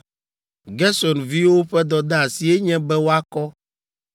“Gerson viwo ƒe dɔdeasie nye be woakɔ: